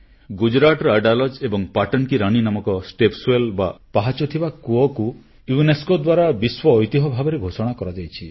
ଗୁଜରାଟର ଅଜାଡଲ୍ ଏବଂ ପାଟନ କି ରାନୀ ନାମକ ସୋପାନକୂପ ବା ପାହାଚ ଥିବା କୂଅକୁ ୟୁନେସ୍କୋ ଦ୍ୱାରା ବିଶ୍ୱ ଐତିହ୍ୟ ଭାବରେ ଘୋଷଣା କରାଯାଇଛି